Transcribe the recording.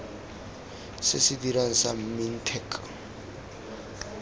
se se dirang sa mintech